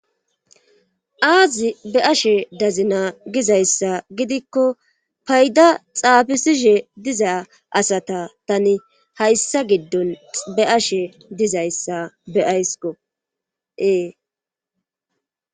aazi be' ashe dazi naa gizayssa gidikko payda xaabisishe diza asata tani hayssa giddon be ashe dizayssa be' aysko ee